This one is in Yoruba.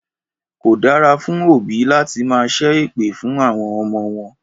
Kò dára fún òbí láti máa ṣẹ́ èpè fún àwọn ọmọ wọn